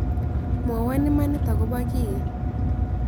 Mwowon imanit agobo kii